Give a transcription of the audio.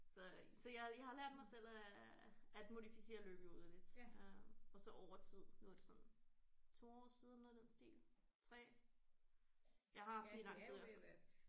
Så så jeg jeg har lært mig selv at at modificere løbehjulet lidt øh og så over tid nu er det sådan 2 år siden noget i den stil 3 jeg har haft den i lang tid i hvert fald